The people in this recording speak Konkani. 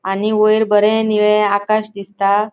आणि वयर बरे नीळे आकाश दिसता.